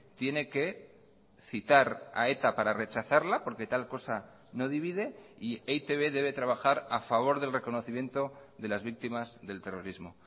tiene que citar a eta para rechazarla porque tal cosa no divide y e i te be debe trabajar a favor del reconocimiento de las víctimas del terrorismo